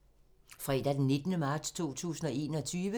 Fredag d. 19. marts 2021